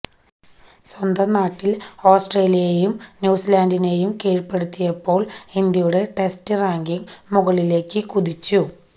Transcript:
സ്വന്തം നാട്ടില് ഓസ്ട്രേലിയയെയും ന്യൂസിലാന്ഡിനെയും കീഴ്പ്പെടുത്തിയപ്പോള് ഇന്ത്യയുടെ ടെസ്റ്റ് റാങ്കിങ് മുകളിലേക്ക് കുതിച്ചു